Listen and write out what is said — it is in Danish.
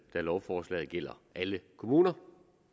da lovforslaget gælder alle kommuner